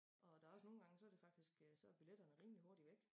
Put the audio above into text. Og der også nogen gange så det faktisk øh så er billetterne rimelig hurtigt væk